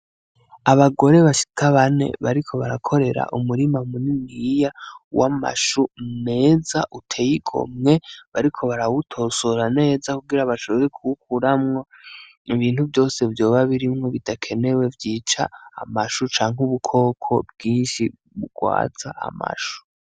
Abagore bashika bane bariko barakorera umurima muniniya w'amashu meza uteye igomwe bariko barawutosora neza kugira bashobore kuwukuramwo ibintu vyose vyoba birimwo bidakenewe vyica amashu canke ubukoko bwinshi bugwaza amashu.